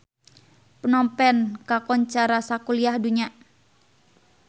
Phnom Penh kakoncara sakuliah dunya